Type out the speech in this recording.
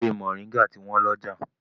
Ewé Moringa ti wọ́n lọ́jà.